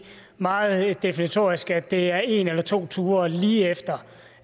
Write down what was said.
meget definitorisk at det er en eller to ture lige efter